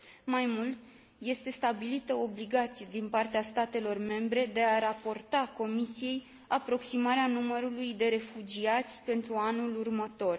Mai mult, este stabilită o obligație din partea statelor membre de a raporta Comisiei aproximarea numărului de refugiați pentru anul următor.